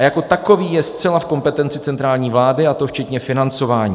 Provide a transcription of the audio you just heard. A jako takový je zcela v kompetenci centrální vlády, a to včetně financování.